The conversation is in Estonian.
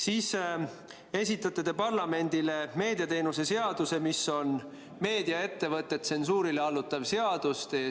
Siis te esitate parlamendile meediateenuste seaduse, mis on meediaettevõtteid tsensuurile allutav seadus.